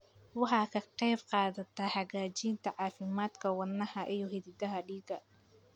Waxay ka qaybqaadataa hagaajinta caafimaadka wadnaha iyo xididdada dhiigga.